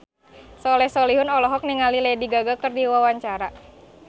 Soleh Solihun olohok ningali Lady Gaga keur diwawancara